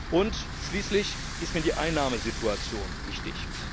Und schließlich ist mir die Einnahmensituation wichtig.